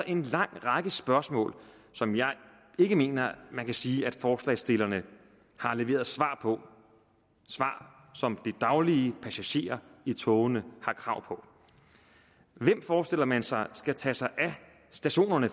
en lang række spørgsmål som jeg ikke mener man kan sige at forslagsstillerne har leveret svar på svar som de daglige passagerer i togene har krav på hvem forestiller man sig skal tage sig af stationerne